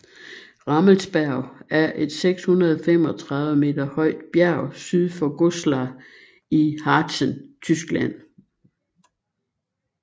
Rammelsberg er et 635 m højt bjerg syd for Goslar i Harzen Tyskland